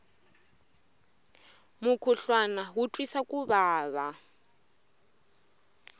mukhuhlwana wu twisa ku vava